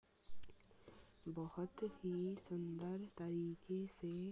बोहत ही सुन्दर तरीके से --